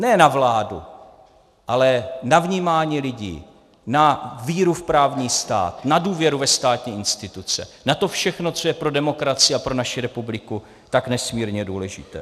Ne na vládu, ale na vnímání lidí, na víru v právní stát, na důvěru ve státní instituce, na to všechno, co je pro demokracii a pro naši republiku tak nesmírně důležité.